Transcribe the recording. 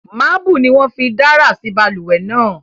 Marble ni won fí dárà sí balùwè náà